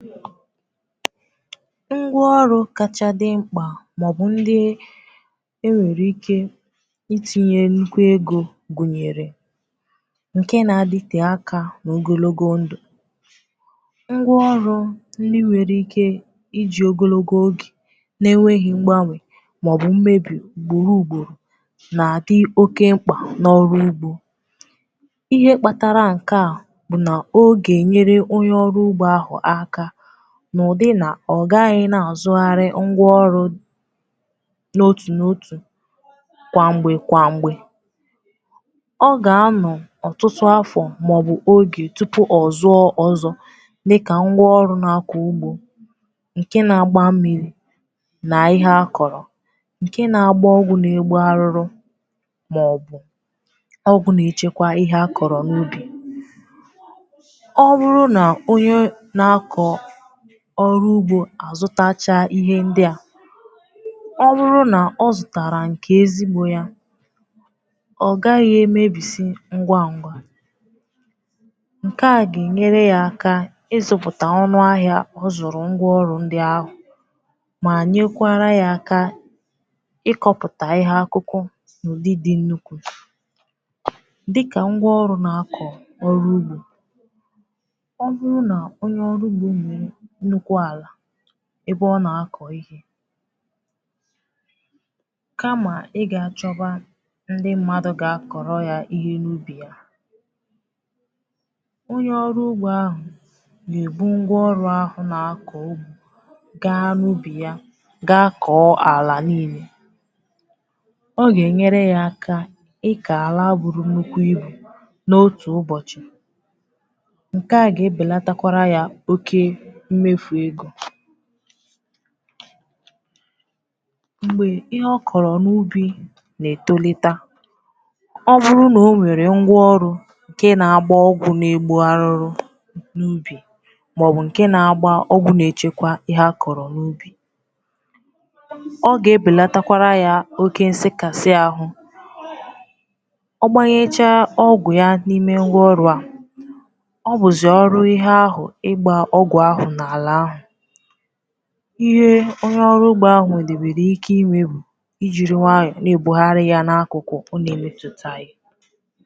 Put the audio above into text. Ngwa ọrụ kacha dị mkpa maọbụ ndị e nwere ike itinye nnukwu ego gụnyere nke na-adịte aka n’ogologo ndụ. Ngwa ọrụ ndị nwere ike iji ogologo oge na-enweghị mgbanwe maọbụ mmebi ugboro ugboro na-adị oke mkpa n’ọrụ ugbo. Ihe kpatara nka bụ na o nyere onye ọrụ ugbo aka n’ụzọ na ọ gaghị na-azụgharị ngwa ọrụ n’otu n'otu kwa mgbe kwa mgbe. Ọ ga-anọ ọtụtụ afọ maọbụ oge tupu ọ zụọ ọzọ. Dịka ngwa ọrụ na-akọ ugbo nke na-agbà mmiri, na ihe akọrọ nke na-agbà ọgwụ na-egbu arụrụ, maọbụ ọgwụ na-echekwa ihe akọrọ n’ubì. Ọrụ ugbo a zụtara ihe ndị a, ọ bụrụ na o zụtara nke eziokwu, ya agaghị emebi ngwa ngwa. Nke a ga-enyere ya aka ịzụpụtakwa ọnụ ahịa o zụrụ ngwa ọrụ ndị ahụ, ma nyekwara ya aka ịkọpụta ihe akù n'ụdị dị nnukwu, dị ka ngwa ọrụ na-akọ ọrụ ugbo ebe ọ na-akọ ihe, kama ị ga-achọbà ndị mmadụ ga-akọrọ ya ihe n’ubì ya. Onye ọrụ ugbo ahụ na-eji ngwa ọrụ ahụ na-akọ ugbo gaa n’ubì ya, ga-akọ ala niile. Nke a ga-enyere ya aka ịka ala buru nnukwu ibu n’otu ụbọchị, mgbe ihe ọ kọrọ n’ubi na-etolite. Ọ bụrụ na o nwere ngwa ọrụ nke na-agbà ọgwụ na-egbu arụrụ n’ubì, maọbụ nke na-agbà ọgwụ na-echekwa ihe akọrọ n’ubì, ọ ga-ebelatakwara ya oke nsekasi ahụ, ọ gbanyecha ọgwụ n’ime ngwa ọrụ a. Ihe onye ọrụ ugbo ahụ nwere ike ime bụ ijiri nwayọ na-ebughari ya n’akụkụ ọ na-emetụ ya.